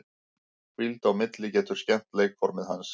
Hvíld á milli getur skemmt leikformið hans.